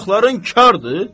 Qulaqların kardır?